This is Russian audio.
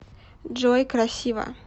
джой красиво